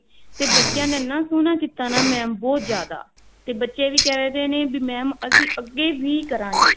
ਤੇ ਬੱਚਿਆਂ ਨੇ ਇੰਨਾ ਸੋਹਣਾ ਕੀਤਾ mam ਬਹੁਤ ਜਿਆਦਾ ਤੇ ਬੱਚੇ ਵੀ ਕਿਹ ਰਹੇ ਨੇ mam ਅਸੀਂ ਅੱਗੇ ਵੀ ਕਰਾਂਗੇ